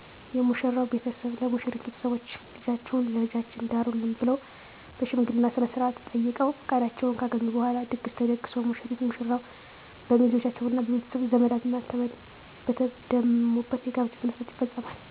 የሙሽራው ቤተሰብ ለሙሽሪት ቤተሰቦች ልጃችሁን ለልጃችን ዳሩልን ብለዉ በሽምገልና ስነስርአት ጠይቀዉ ፍቃዳቸውን ካገኙ በኋላ ድግስ ተደግሶ ሙሽሪትና ሙሽራው በሚዜዎቻቸዉና በቤተሰብ ዘመድ አዝማድ በተደሙበት የጋብቻ ሥነ ሥርዓት ይፈፀማል